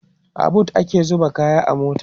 a booth ake zuba kaya a mota